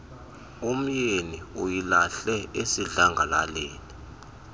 umyeni uyilahle esidlangalaleni